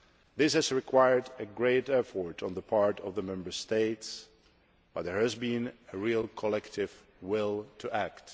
This has required great effort on the part of the Member States, but there has been a real collective will to act.